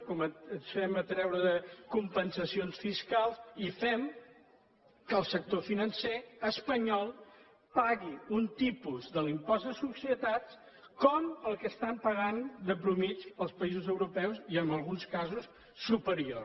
comencem a treure compensacions fiscals i fem que el sector financer espanyol pagui un tipus de l’impost de societats com el que estan pagant de mitjana els països europeus i en alguns casos superior